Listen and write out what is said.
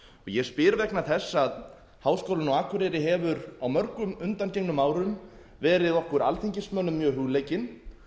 ég spyr vegna þess að háskólinn á akureyri hefur á mörgum undangengnum árum verið okkur alþingismönnum mjög hugleikinn